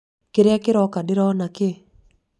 kĩrĩa kĩroka ndĩrona kĩ?